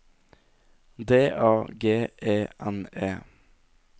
D A G E N E